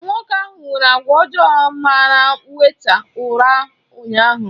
Nwoke ahụ nwere àgwà ọjọọ mara wèịta ura ụnyaahụ.